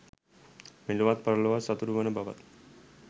මෙලොවත් පරලොවත් සතුටු වන බව